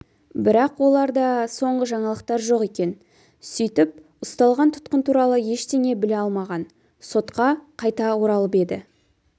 бірақ оларда соңғы жаңалықтар жоқ екен сөйтіп ұсталған тұтқын туралы ештеңе біле алмаған сотқа қайта оралып еді